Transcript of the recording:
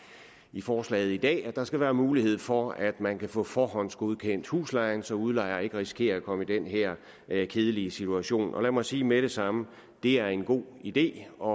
i forslaget i dag at der skal være mulighed for at man kan få forhåndsgodkendt huslejen så udlejer ikke risikerer at komme i den her kedelige situation lad mig sige med det samme at det er en god idé og